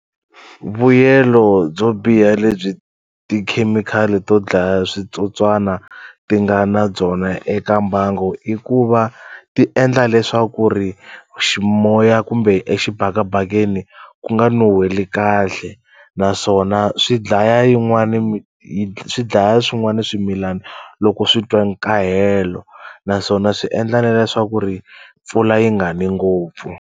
Vuyelo byo biha lebyi tikhemikhali to dlaya switsotswana ti nga na byona eka mbangu i ku va ti endla leswaku ri ximoya kumbe exibakabakeni ku nga nuheli kahle naswona swi dlaya yin'wani swi dlaya swin'wana swimilana loko swi twa nkahelo naswona swi endla na leswaku ri mpfula yi nga ni ngopfu.